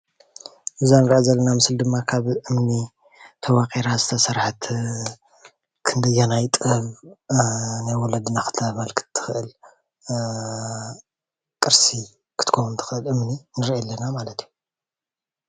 እዛ እንሪኣ ዘለና ምስሊ ድማ ካብ እምኒ ተወቂራ ዝተሰረሐት ክንደየናይ ጥበብ ናይ ወለደና ክተመልክ ት ትክእል ቅርሲ ክትከውን ትኽእል እምኒ ንርኢ ኣለና ማለት እዩ።